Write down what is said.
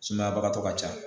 Sumayabagatɔ ka ca